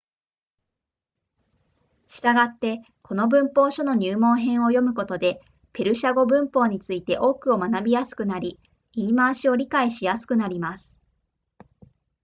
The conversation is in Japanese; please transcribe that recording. したがってこの文法書の入門編を読むことでペルシャ語文法について多くを学びやすくなり言い回しを理解しやすくなります